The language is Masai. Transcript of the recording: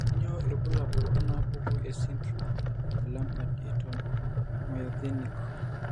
Kainyio irbulabul onaapuku esindirom eLambert Eaton myasthenic?